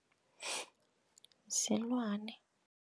Silwane.